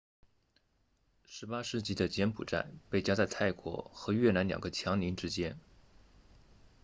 18世纪的柬埔寨被夹在泰国和越南两个强邻之间